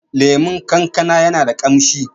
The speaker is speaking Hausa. lemon kankana yana da kamshi